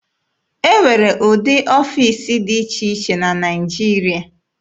E nwere ụdị ọfiisi dị iche iche na Naịjirịa.